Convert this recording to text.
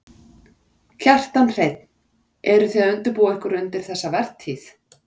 Kjartan Hreinn: Eru þið að undirbúa ykkur undir þessa vertíð?